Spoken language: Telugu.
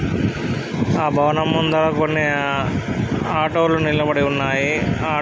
ఆ భవనములు ముందు కొన్ని ఆటో లు నిలబడి ఉన్నాయ్.